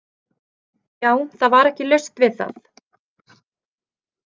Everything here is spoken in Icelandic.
Já, það var ekki laust við það.